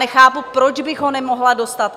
Nechápu, proč bych ho nemohla dostat.